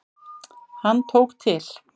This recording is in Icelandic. Hann tók til.